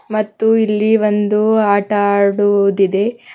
ಮತ್ತು ಇಲ್ಲಿ ಒಂದು ಆಟ ಆಡೋದಿದೆ.